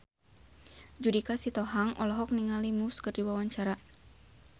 Judika Sitohang olohok ningali Muse keur diwawancara